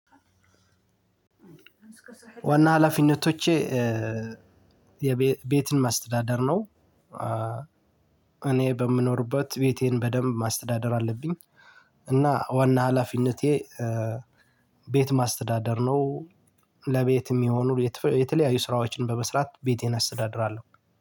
ዋና ሀላፊነቶቼ ቤትን ማስተዳደር ነው። እኔ በምኖርበት ቤቴን በደንብ ማስተዳደር አለብኝ። እና ዋና ሀላፊነቴ ቤት ማስተዳደር ነው። ለቤት የሚሆኑ የተለያዩ ስራዎችን በመስራት ቤቴን አስተዳድራለሁ